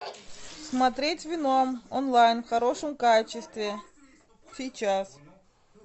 смотреть веном онлайн в хорошем качестве сейчас